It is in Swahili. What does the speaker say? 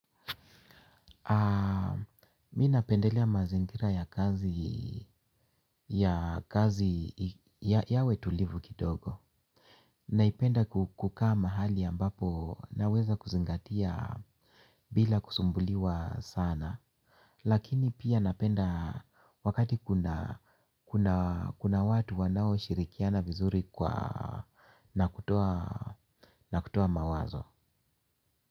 Mi napendelea mazingira ya kazi yawe tulivu kidogo. Naipenda kukaa mahali ambapo naweza kuzingatia bila kusumbuliwa sana. Lakini pia napenda wakati kuna watu wanao shirikiana vizuri kwa nakutoa mawazo.